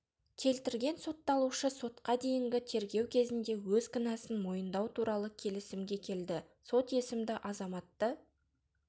келтірген сотталушы сотқа дейінгі тергеу кезінде өз кінәсін мойындау туралы келісімге келді сот есімді азаматты